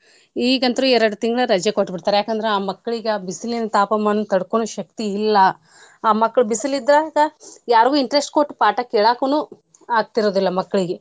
ಈಗಂತ್ರು ಎರ್ಡ್ ತಿಂಗ್ಳ ರಜೆ ಕೊಟ್ಬಿಡ್ತಾರ ಯಾಕಂದ್ರ ಆ ಮಕ್ಕಳ್ಗೇ ಆ ಬಿಸಿಲಿನ ತಾಪಮಾನ ತಡ್ಕೊನೋ ಶಕ್ತಿ ಇಲ್ಲಾ ಅ ಮಕ್ಳು ಬಿಸಲ್ ಇದ್ರಾಗ ಯಾರ್ಗೂ interest ಕೊಟ್ ಪಾಠಾ ಕೇಳಾಕುನು ಆಗ್ತಿರದಿಲ್ಲಾ ಮಕ್ಳಗೆ.